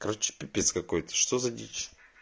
короче пипец какой-то что за дичь